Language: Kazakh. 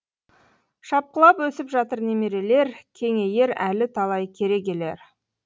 шапқылап өсіп жатыр немерелер кеңейер әлі талай керегелер